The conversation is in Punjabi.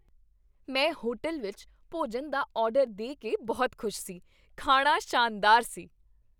ਮੈਂ ਹੋਟਲ ਵਿੱਚ ਭੋਜਨ ਦਾ ਆਰਡਰ ਦੇ ਕੇ ਬਹੁਤ ਖੁਸ਼ ਸੀ। ਖਾਣਾ ਸ਼ਾਨਦਾਰ ਸੀ।